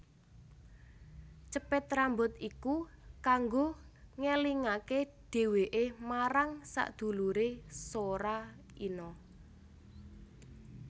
Cepit rambut iku kanggo ngelingake dheweke marang sedulure Sora Inoe